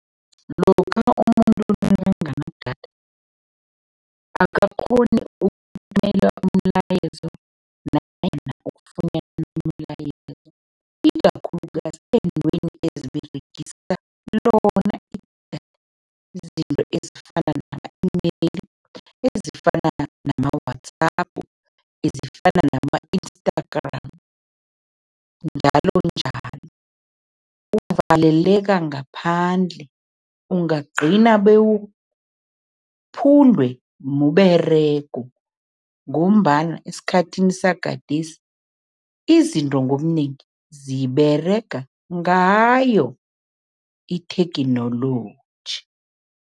Lokha umuntu nakanganadatha, akakghoni ukuthumela umlayezo nanyana ukufunyana umlayezo ikakhulukazi eentweni eziberegisa lona idatha, izinto ezifana nama-email, ezifana nama-WhatsApp, ezifana nama-Instagram njalonjalo. Uvaleleka ngaphandle, ungagcina bewuphundwe mberego ngombana esikhathini sagadesi, izinto ngobunengi ziberega ngayo itheknoloji.